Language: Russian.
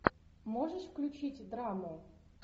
можешь включить драму